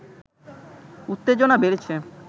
উত্তেজনা বেড়েছে